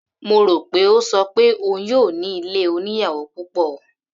Mo rò pé ó ṣọ pé òun yóò ní ilé oníyàwò púpọ̀.